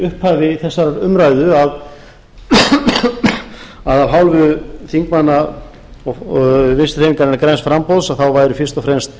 upphafi þessarar umræðu að af hálfu þingmanna vinstri hreyfingarinnar græns framboðs þá væri fyrst og fremst